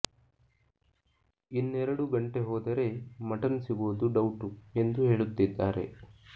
ಇನ್ನೆರೆಡು ಗಂಟೆ ಹೋದರೆ ಮಟನ್ ಸಿಗೋದು ಡೌಟು ಎಂದು ಹೇಳುತ್ತಿದ್ದಾರೆ